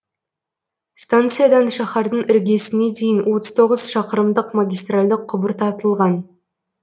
станциядан шаһардың іргесіне дейін отыз тоғыз шақырымдық магистральді құбыр тартылған